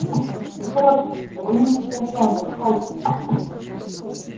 поторопимся догоним экспресс лондон хогвартс